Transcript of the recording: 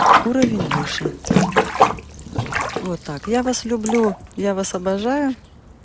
уровень выше вот так я вас люблю я вас обожаю